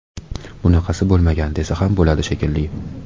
Bunaqasi bo‘lmagan, desa ham bo‘ladi, shekilli.